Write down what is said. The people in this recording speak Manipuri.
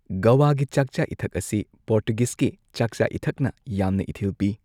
ꯒꯣꯋꯥꯒꯤ ꯆꯥꯛꯆꯥ ꯏꯊꯛ ꯑꯁꯤ ꯄꯣꯔꯇꯨꯒꯤꯖꯀꯤ ꯆꯥꯛꯆꯥ ꯏꯊꯛꯅ ꯌꯥꯝꯅ ꯏꯊꯤꯜ ꯄꯤ꯫